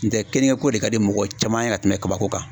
N tɛ kɛnɛyako de ka di mɔgɔ caman ye ka tɛmɛ kabako kan